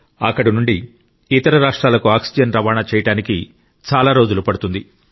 అక్కడి నుండి ఇతర రాష్ట్రాలకు ఆక్సిజన్ రవాణా చేయడానికి చాలా రోజులు పడుతుంది